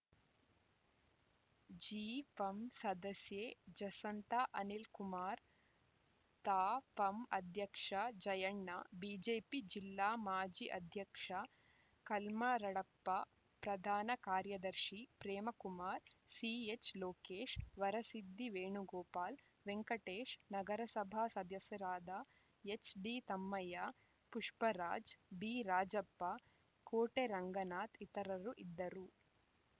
ಜಿಪಂ ಸದಸ್ಯೆ ಜಸಂತಾ ಅನಿಲ್‌ಕುಮಾರ್‌ ತಾಪಂ ಅಧ್ಯಕ್ಷ ಜಯಣ್ಣ ಬಿಜೆಪಿ ಜಿಲ್ಲಾ ಮಾಜಿ ಅಧ್ಯಕ್ಷ ಕಲ್ಮರಡಪ್ಪ ಪ್ರಧಾನ ಕಾರ್ಯದರ್ಶಿ ಪ್ರೇಮ ಕುಮಾರ್‌ ಸಿಎಚ್‌ಲೋಕೇಶ್‌ ವರಸಿದ್ದಿ ವೇಣುಗೋಪಾಲ್‌ ವೆಂಕಟೇಶ್‌ ನಗರಸಭಾ ಸದಸ್ಯರಾದ ಎಚ್‌ಡಿತಮ್ಮಯ್ಯ ಪುಷ್ಪರಾಜ್‌ ಬಿ ರಾಜಪ್ಪ ಕೋಟೆ ರಂಗನಾಥ್‌ ಇತರರು ಇದ್ದರು